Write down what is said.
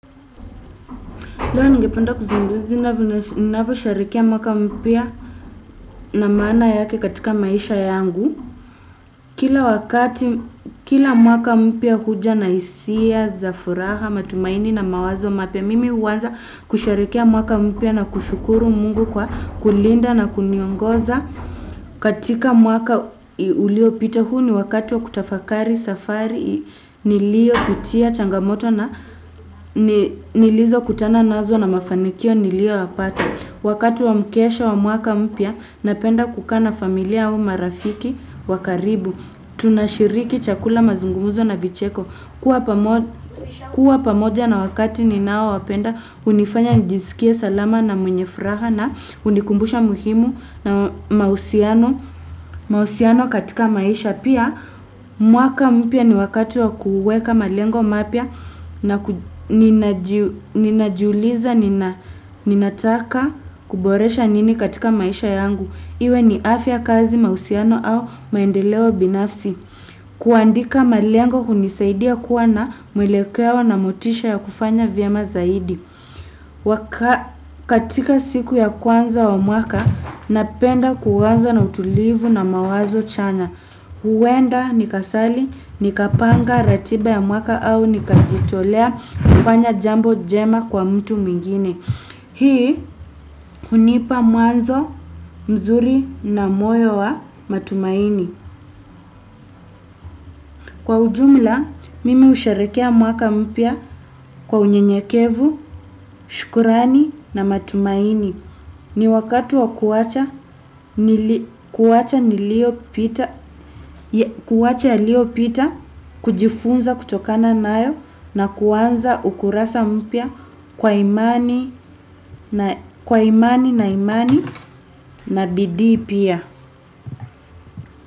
Leo ningependa kuzungumzia, ninavyosherehekea mwaka mpya na maana yake katika maisha yangu kila kila mwaka mpya huja na hisia za furaha, matumaini na mawazo mapya, mimi huanza kusherehekea mwaka mpya na kushukuru Mungu kwa kulinda na kuniongoza. Katika mwaka uliopita huu ni wakati wa kutafakari safari niliopitia changamoto na nilizokutana nazo na mafanikio niliyoyapata. Wakati wa mkesho wa mwaka mpya napenda kukaa na familia au marafiki wa karibu. Tunashiriki chakula mazungumzo na vicheko kuwa pamoja. Kuwa pamoja na wakati ninaowapenda, hunifanya nijisikie salama na mwenye furaha na hunikumbusha muhimu na mahusiano katika maisha. Pia, mwaka mpya ni wakati wa kuweka malengo mapya na ninajiuliza, ninataka kuboresha nini katika maisha yangu. Iwe ni afya kazi mahusiano au maendeleo binafsi. Kuandika malengo hunisaidia kuwa na mwelekeo na motisha ya kufanya vyema zaidi katika siku ya kwanza wa mwaka napenda kuanza na utulivu na mawazo chanya huenda nikasali nikapanga ratiba ya mwaka au nikajitolea kufanya jambo jema kwa mtu mwingine hii hunipa mwazo mzuri na moyo wa matumaini kwa ujumla, mimi husherehekea mwaka mpya kwa unyenyekevu, shukrani na matumaini. Ni wakati wa kuwacha nili, kuacha yaliopita, kujifunza kutokana nayo na kuanza ukurasa mpya kwa imani na imani na bidii pia.